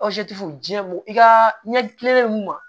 diɲɛ mun i ka ɲɛ mun ma